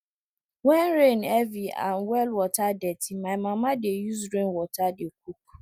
when rain heavy and well water dirty my mama dey use rainwater dey cook